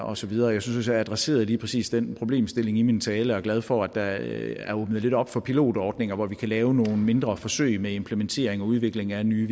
og så videre jeg synes jeg adresserede lige præcis den problemstilling i min tale og er glad for at der er åbnet lidt op for pilotordninger hvor vi kan lave nogle mindre forsøg med implementering og udvikling af nye